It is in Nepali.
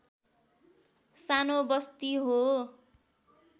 सानो बस्ती हो